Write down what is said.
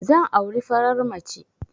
Zan auri farar mace